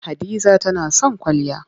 Hadiza tana son kwalliya.